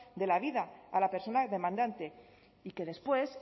de la vida a la persona demandante y que después